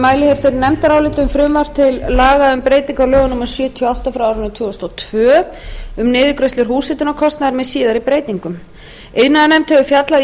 um frv til l um breytta á l númer sjötíu og átta tvö þúsund og tvö um niðurgreiðslur húshitunarkostnaðar með síðari breytingum iðnaðarnefnd hefur fjallað